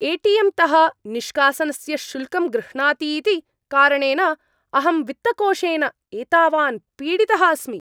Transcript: ATM तः निष्कासनस्य शुल्कं गृह्णाति इति कारणेन अहं वित्तकोषेन एतावान् पीडितः अस्मि ।